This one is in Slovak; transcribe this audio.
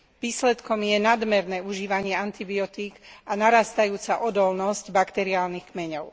Výsledkom je nadmerné užívanie antibiotík a narastajúca odolnosť bakteriálnych kmeňov.